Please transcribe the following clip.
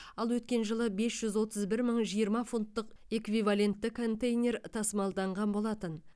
ал өткен жылы бес жүз отыз бір мың жиырма фунттық эквивалентті контейнер тасымалданған болатын